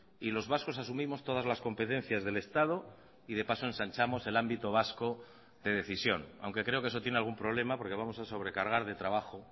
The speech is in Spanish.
y los vascos asumimos todas las competencias del estado y de paso ensanchamos el ámbito vasco de decisión aunque creo que eso tiene algún problema porque vamos a sobrecargar de trabajo